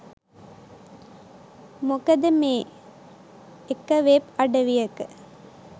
මොකද මේ එක වෙබ් අඩවියක